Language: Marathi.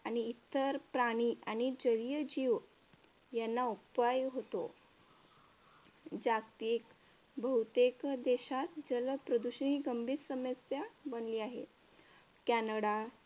आणि इतर प्राणी आणि जलीय जीव यांना अपाय होतो. जागतिक बहुतेक देशात जलप्रदूषण ही गंभीर समस्या बनलेली आहे. कॅनडा,